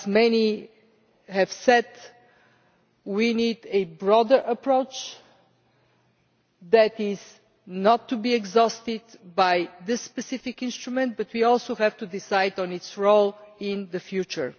As many have said, we need a broader approach that is not exhausted by this specific instrument, but we also have to decide on its role in the future.